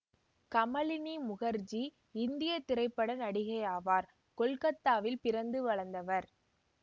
கமலினி முகர்ஜி இந்திய திரைப்பட நடிகை ஆவார் கொல்கத்தாவில் பிறந்து வளர்ந்தவர்